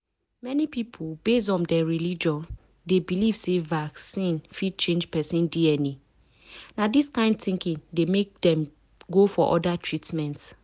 many people based on dem religion dey believe say vaccine fit change person dna. na dis kain thinking dey make dem go for other treatments.